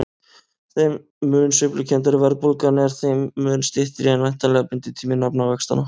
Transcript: Þeim mun sveiflukenndari verðbólgan er þeim mun styttri er væntanlega binditími nafnvaxtanna.